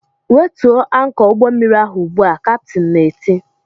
"Wetuo ankọ ụgbọmmiri ahụ ugbu a!" kaptin na-eti